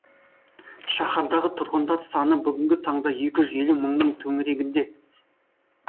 шаһардағы тұрғындар саны бүгінгі таңда екі жүз елу мыңның төңірегінде